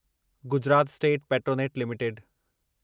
Gujarat state Petronet limited